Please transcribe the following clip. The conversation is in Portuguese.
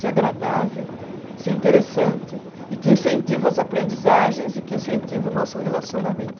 Ser agradável, ser interessante e que incentiva as aprendizagens e que incentiva o nosso relacionamento.